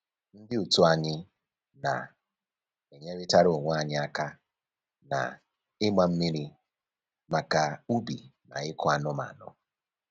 Ndị otu anyị na-enyeritara onwe anyị aka na-ịgba mmiri maka ubi na ịkụ anụmanụ